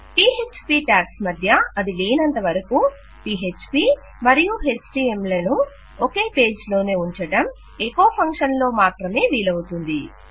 PHP tags మధ్య అది లేనంతవరకూ పీఎచ్పీ మరియు ఎచ్టీఎంఎల్ లను ఒకే పేజ్ లోనే ఉంచడం ఎకొ ఫంక్షన్ లో మాత్రమే వీలవుతుంది